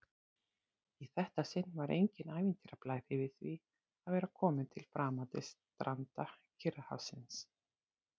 Í þetta sinn var enginn ævintýrablær yfir því að vera komin til framandi stranda Kyrrahafsins.